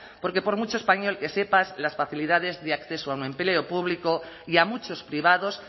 porque por mucho español que sepas las facilidades de acceso a un empleo público y a muchos privados